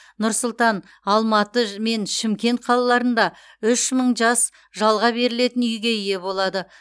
нұр сұлтан алматы мен шымкент қалаларында үш мың жас жалға берілетін үйге ие болады